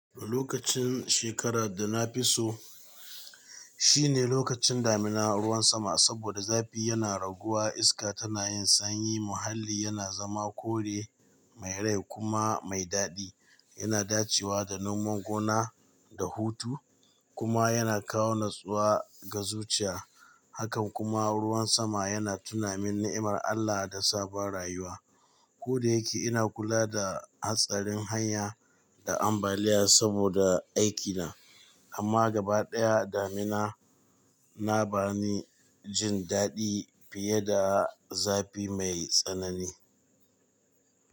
Lokacin shekarar da na fi so, shine lokacin damina ruwan sama saboda zafi yana raguwa, iska tana yin sanyi, muhalli yana zama kore mai rai kuma mai dadi. Yana dacewa da noman gona da hutu kuma yana kawo natsuwa ga zuciya. Haka kuma ruwan sama yana tunamin ni'imar Allah da sabon rayuwa. Ko da yake ina kula da hatsarin hanya da ambaliya saboda aikina amma gabaɗaya damina na ba ni jin daɗi fiye da zafi mai tsanani.